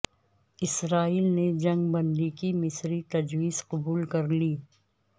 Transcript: اسرائیل نے جنگ بندی کی مصری تجویز قبول کر لی